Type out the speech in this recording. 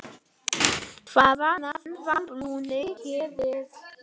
Hvaða nafn var brúnni gefið?